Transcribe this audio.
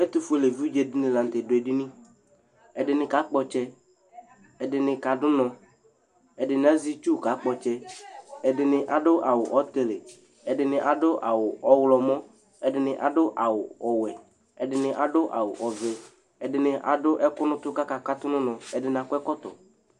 etu fluele evidƶe dini lã ŋtɛ du edini ɛdini ka kpo ɔtsɛ ɛdini ka du nɔ ɛdinia, ɛdinia azɛ itsu ka kpɔ tsɛ, ɛdini adu awu ɔwu ɔtili ,ɛdini adu awu ɔɣlɔmɔ, ɛdini adu awu ɔwɛ, ɛdini adu awu ɔvɛ, ɛdini adu ɛku nu utu ku aka tu nu unɔ ,ɛdini akɔ ɛkɔtɔ